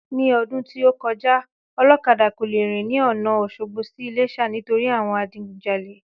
Ní ọdún tí o kọjá olókadà kò le rìn ní ọ̀na Òsogbo sí iléṣà nítorí àwọn Adigunjalè